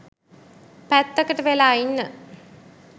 පැත්තකට වෙලා ඉන්න.